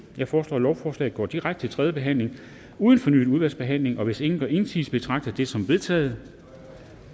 jeg foreslår at lovforslaget går direkte til tredje behandling uden fornyet udvalgsbehandling hvis ingen gør indsigelse betragter jeg det som vedtaget